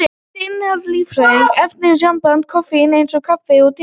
Fræin innihalda lífræna efnasambandið koffín, eins og kaffi og te.